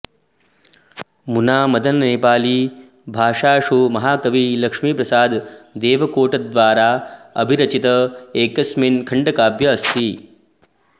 मुना मदन नेपाली भाषाषु महाकवि लक्ष्मीप्रसाद देवकोटाद्वारा अभिरचित एकस्मिन खण्डकाव्य अस्ति